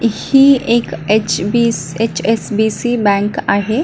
ही एक H B HSBC. Bank आहे.